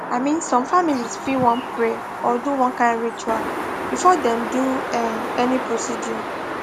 i mean some families fit wan pray or do one kind ritual before dem do um any procedure